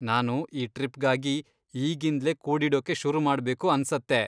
ನಾನು ಈ ಟ್ರಿಪ್ಗಾಗಿ ಈಗಿಂದ್ಲೇ ಕೂಡಿಡೋಕೆ ಶುರು ಮಾಡ್ಬೇಕು ಅನ್ಸತ್ತೆ.